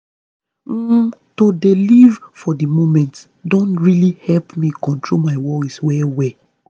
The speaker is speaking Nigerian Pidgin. um to dey live for the moment don really help me control my worry well well.